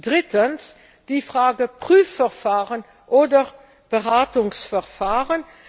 Drittens Die Frage Prüfverfahren oder Beratungsverfahren.